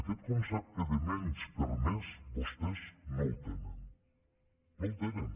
aquest concepte de menys per més vostès no el tenen no el tenen